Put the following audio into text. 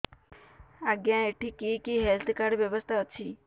ଆଜ୍ଞା ଏଠି କି କି ହେଲ୍ଥ କାର୍ଡ ବ୍ୟବସ୍ଥା ଅଛି